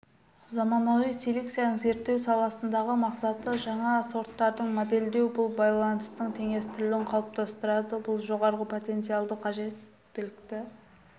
заманауи селекцияның зерттеу саласындағы мақсаты жаңа сорттарды модельдеу бұл баланстың теңестірілуін қалыптастырады бұл жоғары потенциалды жеткілікті